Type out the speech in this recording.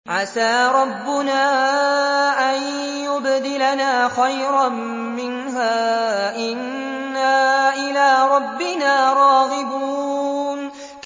عَسَىٰ رَبُّنَا أَن يُبْدِلَنَا خَيْرًا مِّنْهَا إِنَّا إِلَىٰ رَبِّنَا رَاغِبُونَ